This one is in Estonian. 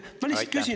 Ma lihtsalt küsin …